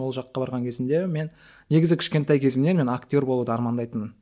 ол жаққа барған кезімде мен негізі кішкентай кезімнен мен актер болуды армандайтынмын